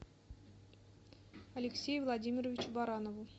алексею владимировичу баранову